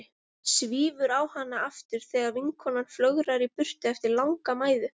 Svífur á hana aftur þegar vinkonan flögrar í burtu eftir langa mæðu.